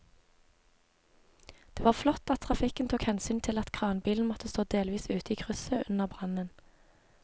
Det var flott at trafikken tok hensyn til at kranbilen måtte stå delvis ute i krysset under brannen.